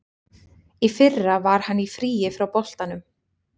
Í fyrra var hann í fríi frá boltanum.